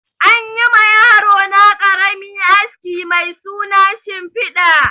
Anyi ma yarona ƙarami aski mai suna shimfiɗa